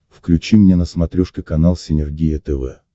включи мне на смотрешке канал синергия тв